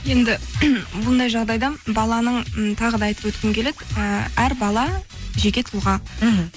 енді бұндай жағдайда баланың м тағы да айтып өткім келеді і әр бала жеке тұлға мхм